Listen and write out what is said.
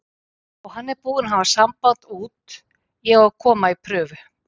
Og hann er búinn að hafa samband út, ég á að koma í prufu.